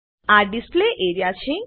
આ display area છે